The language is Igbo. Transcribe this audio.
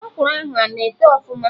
Ọkwụrụ ahụ ana eto ọfụma?